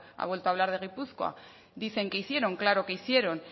ha vuelto a hablar de gipuzkoa dicen que hicieron claro que hicieron